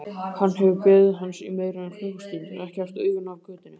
Hann hefur beðið hans í meira en klukkustund, ekki haft augun af götunni.